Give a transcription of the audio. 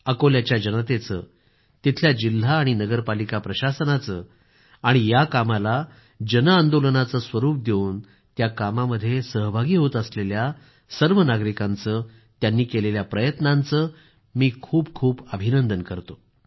अकोल्याच्या जनतेचं तिथल्या जिल्हा आणि नगरपालिका प्रशासनाचं आणि या कामाला जनआंदोलनाचं स्वरूप देवून त्या कामामध्ये सहभागी होत असलेल्या सर्व नागरिकांचं त्यांनी केलेल्या प्रयत्नांचं मी खूप खूप अभिनंदन करतो